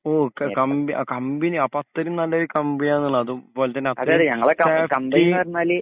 ഓഹ് company company അപ്പൊ അത്രേം നല്ലൊരു കമ്പനി ആണെന്നുള്ള അതും